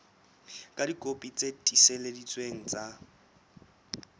ka dikopi tse tiiseleditsweng tsa